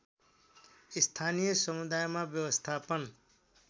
स्थानीय समुदायमा व्यवस्थापन